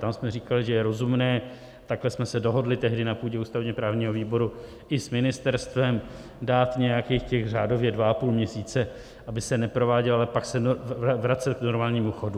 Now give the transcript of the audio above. Tam jsme říkali, že je rozumné, takhle jsme se dohodli tehdy na půdě ústavně-právního výboru i s ministerstvem, dát nějakých těch řádově 2,5 měsíce, aby se neprováděly, ale pak se vracet k normálnímu chodu.